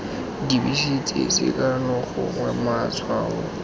dibese tse sekano gongwe matshwao